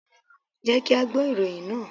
Jẹ́ kí á gbọ́ ìròyìn náà.